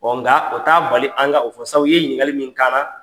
nka o t'a bali an ka o fɔ sabu i ye ɲininkali min k'an na